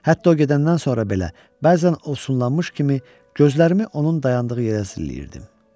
Hətta o gedəndən sonra belə, bəzən olsunlanmış kimi gözlərimi onun dayandığı yerə zilləyirdim.